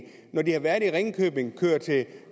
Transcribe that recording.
ringkøbing kører til